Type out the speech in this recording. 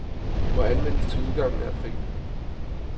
Må anvendes til udgangen af april.